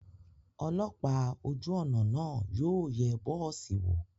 Ọlọ́pàá ojú ọ̀nà náà yóò yẹ bọ́ọ̀sì wò.